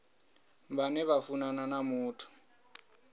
vhane vha funana na muthu